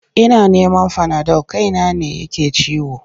Ina neman fanadol kaina ne yake ciwo.